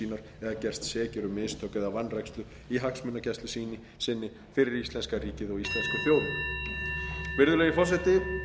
sínar eða gerst sekir um mistök eða vanrækslu í hagsmunagæslu sinni fyrir íslenska ríkið og íslensku þjóðina virðulegi forseti ég legg til að umræðu þessari